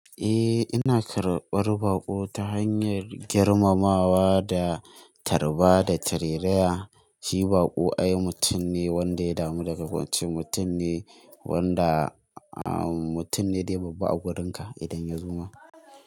Eh, ina karɓar baƙo ta hanyar girmamawa da tarba da tireriya. Shi baƙo ai mutum ne wanda ya damu daga wancan mutum ne wanda mutum ne da ya babban a wurinka idan ya zo ma.